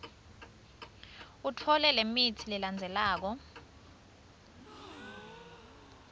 utfole lemitsi lelandzelako